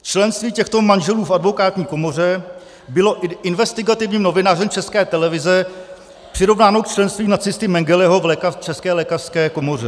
Členství těchto manželů v Advokátní komoře bylo investigativním novinářem České televize přirovnáno k členství nacisty Mengeleho v České lékařské komoře.